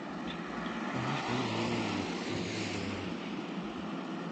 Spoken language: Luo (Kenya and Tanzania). Faras konyo ahinya e wuodh kuonde maboyo e thim.